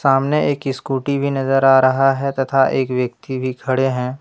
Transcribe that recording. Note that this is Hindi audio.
सामने एक स्कूटी भी नजर आ रहा है तथा एक व्यक्ति भी खड़े है।